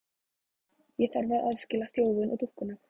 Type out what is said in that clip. Ég þarf að aðskilja þjófinn og dúkkuna.